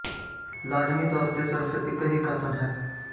ਲਾਜ਼ਮੀ ਤੌਰ ਤੇ ਸਿਰਫ ਇੱਕ ਹੀ ਕਥਨ ਹੈ